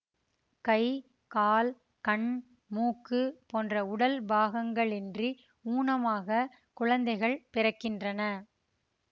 கைகால் கண்மூக்கு போன்ற உடல் பாகங்களின்றி ஊனமாகக் குழந்தைகள் பிறக்கின்றன